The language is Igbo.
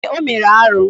Ee, o mere arụ